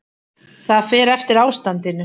Það fer eftir ástandinu.